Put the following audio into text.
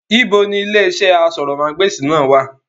Ibo ni ilé iṣẹ́ asọ̀rọ̀mágbèsì náà wà?